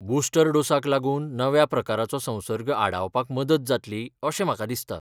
Booster डोसाक लागून नव्या प्रकाराचो संसर्ग आडावपाक मदत जातली अशें म्हाका दिसता.